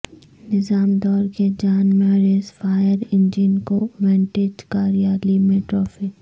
نظام دور کے جان ماریس فائر انجن کو ونٹیج کار ریالی میں ٹروفی